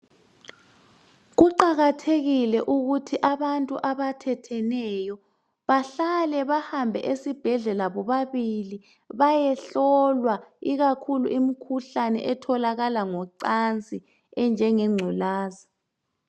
Kuqakathekile ukuthi abantu abathetheneyo bahale bahambe esibhedlela bobabili bayehlolwa ikakhulu imkhuhlane etholakala ngocansi enjenge ngculazi